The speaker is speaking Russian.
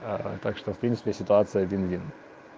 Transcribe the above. так что в принципе ситуация один один